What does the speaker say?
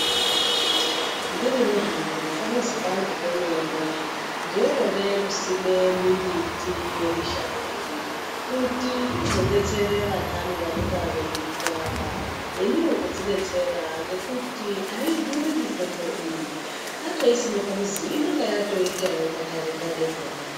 Ndirini hangu nepa muzi pangu pe mene ndino tode kusime mi mbiti ye mishango iyi kuti ndizo detsere vandani vanonga vei rwara neniwo kudzi detsera ngekuti ayi dhuri mitombo iyi tatoi sime pamuzi inonga yatoitawo magade gade pona.